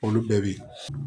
Olu bɛɛ bɛ